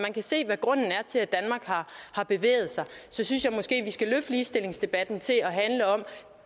ser hvad grunden er til at danmark har bevæget sig så synes jeg måske at vi skal løfte ligestillingsdebatten til at handle om